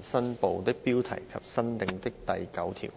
新部的標題及新訂的第9條。